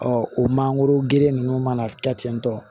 o mangoro geren ninnu mana kɛ ten tɔ